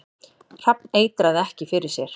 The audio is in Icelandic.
Hrafn eitraði ekki fyrir sér